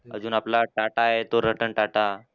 अजून आपला टाटा आहे तो रतन टाटा.